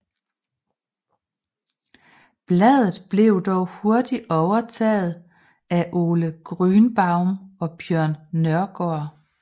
Bladet blev dog hurtigt overtaget af Ole Grünbaum og Bjørn Nørgård